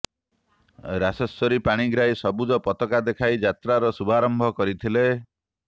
ରାଶେଶ୍ବରୀ ପ୍ରାଣିଗ୍ରାହୀ ସବୁଜ ପତକା ଦେଖାଇ ଯାତ୍ରାର ଶୁଭରାମ୍ଭ କରିଥିଲେ